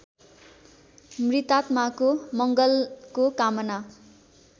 मृतात्माको मङ्गलको कामना